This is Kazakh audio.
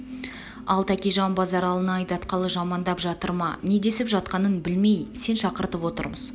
ал тәкежан базаралыны айдатқалы жамандап жатыр ма не десіп жатқанын білмей сен шақыртып отырмыз